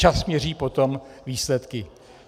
Čas měří potom výsledky.